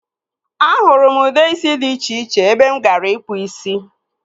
A hụrụ m ude isi dị iche iche ebe m gara ịkpụ isi.